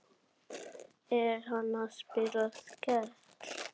Er hann að spila Skell?